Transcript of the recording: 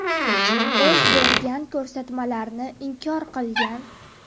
O‘z bergan ko‘rsatmalarni inkor qilgan.